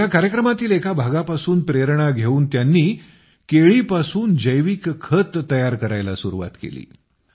या कार्यक्रमातील एका एपिसोडपासून प्रेरणा घेऊन त्यांनी केळीपासून जैविक खत तयार करण्यास सुरूवात केली